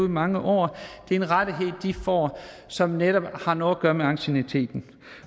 i mange år det er en rettighed de får som netop har noget at gøre med ancienniteten